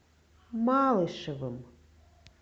малышевым